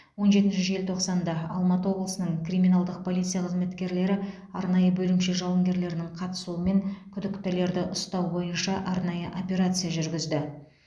он жетінші желтоқсанда алматы облысының криминалдық полиция қызметкерлері арнайы бөлімше жауынгерлерінің қатысуымен күдіктілерді ұстау бойынша арнайы операция жүргізді